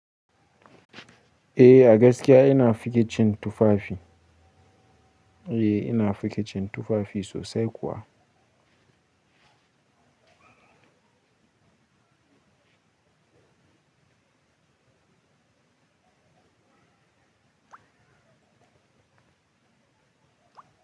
Eh, a gaskiya ina figicin tufafi. Eh ina fike cin tufafi sosai kuwa.